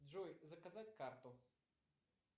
джой заказать карту